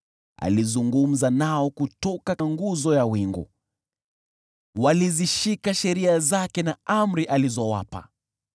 Alizungumza nao kutoka nguzo ya wingu; walizishika sheria zake na amri alizowapa.